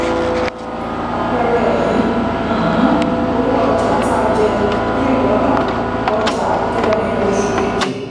àpẹẹrẹ yìí um owó ọjà tá jẹ three dollar ọjà kẹrin oṣù kejì.